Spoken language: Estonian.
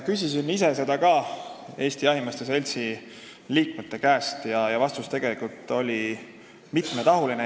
Küsisin ise seda Eesti Jahimeeste Seltsi liikmete käest ja vastus oli mitmetahuline.